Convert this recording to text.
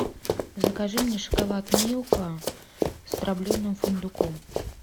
закажи мне шоколад милка с дробленым фундуком